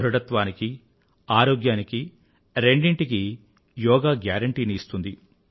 ధృఢత్వానికీ ఆరోగ్యానికీ రెండిటికీ యోగా గ్యారెంటీని ఇస్తుంది